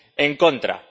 en contra.